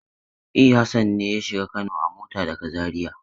E, Hassan ne ya shiga Kano a mota daga Zariya.